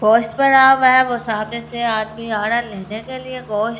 गोश्त पड़ा हुआ है वो सामने से आदमी आ रहा है लेने के लिए गोश्त--